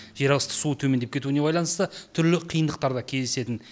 жерасты суы төмендеп кетуіне байланысты түрлі қиындықтар да кездесетін